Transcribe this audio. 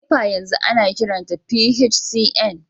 NEPA yanzu ana kiranta PHCN